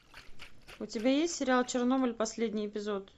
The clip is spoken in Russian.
у тебя есть сериал чернобыль последний эпизод